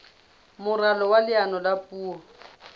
moralo wa leano la puo